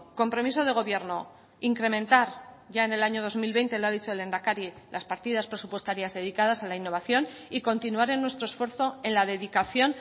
compromiso de gobierno incrementar ya en el año dos mil veinte lo ha dicho el lehendakari las partidas presupuestarias dedicadas a la innovación y continuar en nuestro esfuerzo en la dedicación